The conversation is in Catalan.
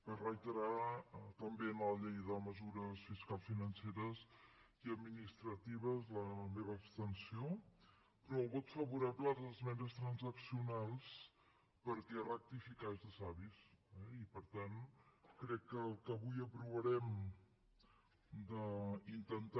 per reiterar també en la llei de mesures fiscals i financeres i administratives la meva abstenció però el vot favorable a les esmenes transaccionals perquè rectificar és de savis eh i per tant crec que el que avui aprovarem d’intentar